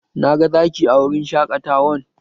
Na ga Zaki a wurin shaƙatawan